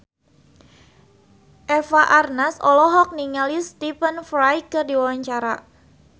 Eva Arnaz olohok ningali Stephen Fry keur diwawancara